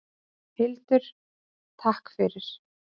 Hildur: Takk fyrir.